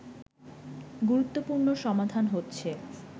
গুরুত্বপূর্ণ সমাধান হচ্ছে